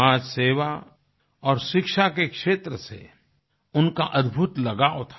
समाज सेवा और शिक्षा के क्षेत्र से उनका अद्भुत लगाव था